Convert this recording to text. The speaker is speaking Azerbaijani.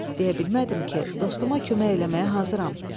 Deyə bilmədim ki, dostuma kömək eləməyə hazıram.